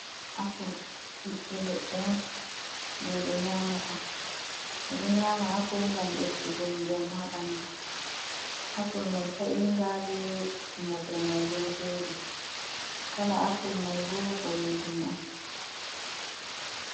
Apul ɓiɓɓe leɗɗe on je ɓe nyamata, ɓe ɗo nyama appul ngam ɓeddugo njamu haa ɓandu, apul mai ta’iga be mumre mai bo ɗo jooɗii, kala apul mai bo boɗeejum on.